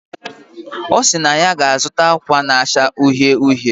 Osiri na ya ga azuta akwa na acha uhie uhie